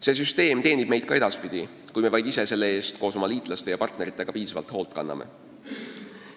See süsteem teenib meid ka edaspidi, kui me vaid ise selle eest koos oma liitlaste ja partneritega piisavalt hoolt kanname.